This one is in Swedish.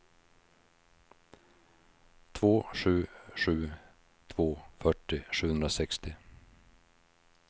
två sju sju två fyrtio sjuhundrasextio